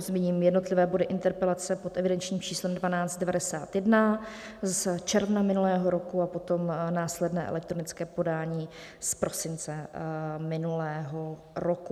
Zmíním jednotlivé body interpelace pod evidenčním číslem 1291 z června minulého roku a potom následné elektronické podání z prosince minulého roku.